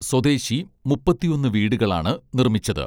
സ്വദേശി മുപ്പത്തിയൊന്ന് വീടുകളാണ് നിർമ്മിച്ചത്